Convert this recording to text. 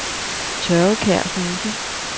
Tørvekær Huse